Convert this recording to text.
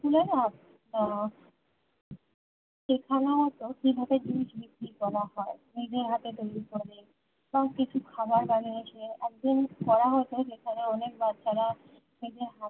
school এ না উম সেখানেও তো কিভাবে জিনিস বিক্রি করা হয় নিজের হাতে তৈরী করে বা কিছু খাবার বানিয়ে সে একদম করা হত যেখানে অনেক বাচ্চারা নিজের হাতে